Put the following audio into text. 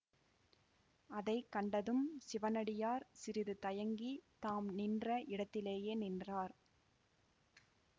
அதை கண்டதும் சிவனடியார் சிறிது தயங்கித் தாம் நின்ற இடத்திலேயே நின்றார்